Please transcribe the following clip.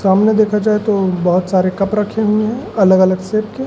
सामने देखा जाए तो बहोत सारे कप रखे हुए हैं अलग-अलग शेप के।